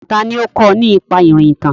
Tani ó kó ọ nípa ìrìntàn?